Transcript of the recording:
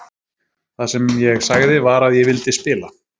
Það sem ég sagði var að ég vildi spila.